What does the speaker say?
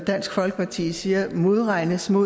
dansk folkeparti siger modregnes med